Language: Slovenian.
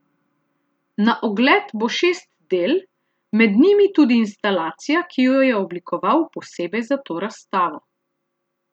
Na ogled bo šest del, med njimi tudi instalacija, ki jo je oblikoval posebej za to razstavo.